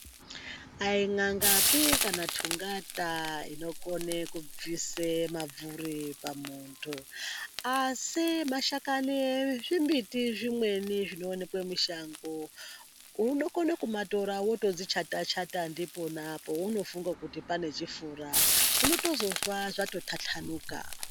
Ayi n'angapi kana tungata inokone kubvise pabvuri pamuntu. Asi mashakani ezvimiti zvimweni zvinoonekwe mushango unokona kumatora wotodzichata-chata ndipona pounofunga kuti pane chifura, unotozozwa zvatotatanuka.